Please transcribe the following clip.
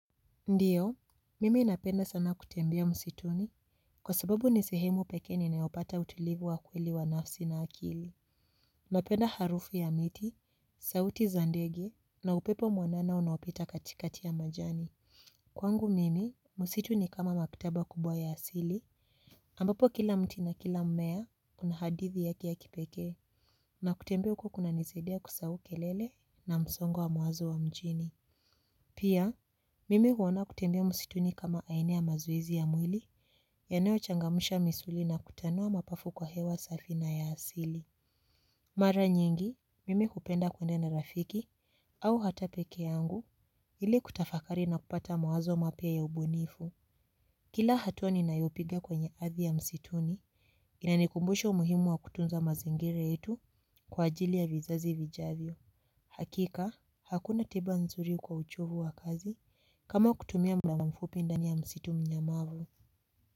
Ndiyo, mimi napenda sana kutembea msituni kwa sababu ni sehemu pekee ninayo pata utulivu wa kweli wa nafsi na akili. Napenda harufu ya miti, sauti za ndege na upepo mwanana unaopita katikati ya majani. Kwangu mimi, msitu ni kama maktaba kubwa ya asili ambapo kila mti na kila mmea una hadithi yake ya kipekee na kutembea huko kuna nisaidia kusahau kelele na msongo wa mawazo wa mjini. Pia, mimi huona kutembea msituni kama aina ya mazoezi ya mwili yanayo changamsha misuli na kutanua mapafu kwa hewa safi na ya asili. Mara nyingi, mimi hupenda kuenda na rafiki au hata peke yangu ili kutafakari na kupata mawazo mapya ya ubunifu. Kila hatu ninayo piga kwenye ardhi ya msituni, inanikumbusha umuhimu wa kutunza mazingira yetu kwa ajili ya vizazi vijavyo. Hakika, hakuna tiba nzuri kwa uchovu wa kazi kama kutumia muda mfupi ndani ya msitu mnyamavu.